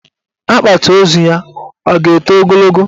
Akpati ozu ya a ga-eto ogologo?